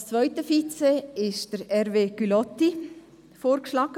Als zweiter Vizepräsident ist von der SP Hervé Gullotti vorgeschlagen.